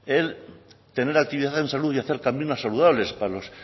el tener actividades en salud y hacer caminos saludables para los